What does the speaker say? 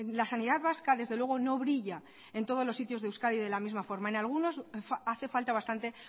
la sanidad vasca desde luego no brilla en todos los sitios de euskadi de la misma forma en algunos hace falta bastante